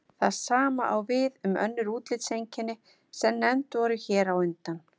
Það sama á við um önnur útlitseinkenni sem nefnd voru hér á undan.